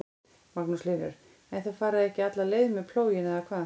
Magnús Hlynur: En þið farið ekki alla leið með plóginn eða hvað?